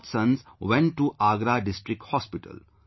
Both sons went to Agra District hospital